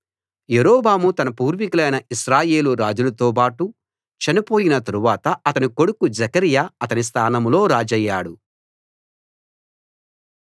యరొబాము తన పూర్వీకులైన ఇశ్రాయేలు రాజులతోబాటు చనిపోయిన తరువాత అతని కొడుకు జెకర్యా అతని స్థానంలో రాజయ్యాడు